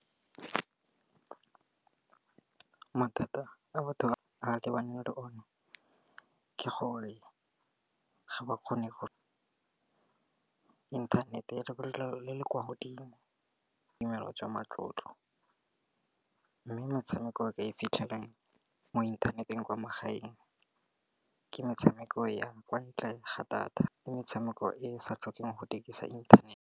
Mathata a batho ba lebane le o ne, ke gore ga ba kgone go inthanete ya lebelo le le kwa godimo. Ke dimelo jwa matlotlo mme metshameko e ka e fitlhelang mo inthaneteng kwa magaeng ke metshameko ya kwa ntle ga data, ke metshameko e sa tlhokeng go dirisa inthanete.